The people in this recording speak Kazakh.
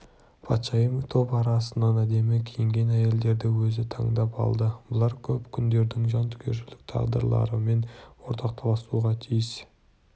патшайым топ арасынан әдемі киінген әйелдерді өзі таңдап алды бұлар көп күңдердің жан түршігерлік тағдырларымен ортақтасуға тиіс